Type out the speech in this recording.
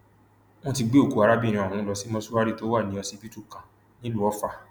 wọn ti gbé òkú arábìnrin ọhún lọ sí mọṣúárì tó wà ní ọsibítù kan nílùú ọfà